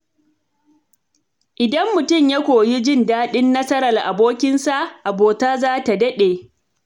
Idan mutum ya koyi jin daɗin nasarar abokinsa, abota za ta daɗe.